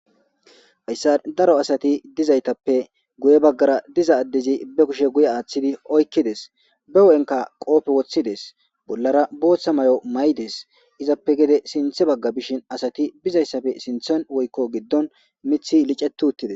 Hayisa daro asati dizaytappe guye baggara diza addezi be kushe guye aaththidi oykkides be wo'enka qoofe woththides bollara booththa mayo may'des izappe gede sinthe bagga bishin asati bizayssafe sinthon woy'ko giddon mithi licetuttides